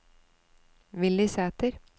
Willy Sæter